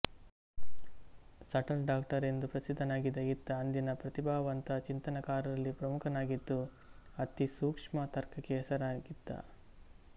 subtle doctor ಎಂದು ಪ್ರಸಿದ್ಧನಾಗಿದ್ದ ಈತ ಅಂದಿನ ಪ್ರತಿಭಾವಂತ ಚಿಂತನಕಾರರಲ್ಲಿ ಪ್ರಮುಖನಾಗಿದ್ದು ಅತಿಸೂಕ್ಷ್ಮ ತರ್ಕಕ್ಕೆ ಹೆಸರಾಗಿದ್ದ